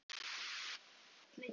Kinkaði kolli.